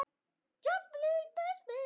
Nei ekkert eins og